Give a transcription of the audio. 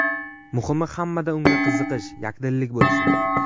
Muhimi hammada unga qiziqish, yakdillik bo‘lsin.